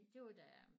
Det var da jeg